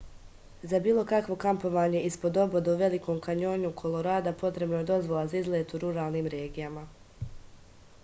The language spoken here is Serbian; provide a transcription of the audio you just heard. za bilo kakvo kampovanje ispod oboda u velikom kanjonu kolorada potrebna je dozvola za izlet u ruralnim regijama